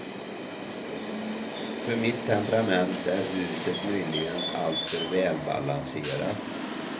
För mitt temperament är huset möjligen alltför välbalanserat.